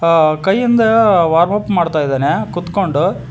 ಅ ಕೈಯಿಂದ warm up ಮಾಡ್ತಾ ಇದಾನೆ ಕುತ್ಕೊಂಡು--